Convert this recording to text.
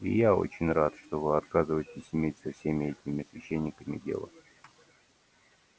и я очень рад что вы отказываетесь иметь со всеми этими священниками дело